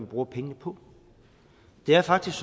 bruger pengene på det er faktisk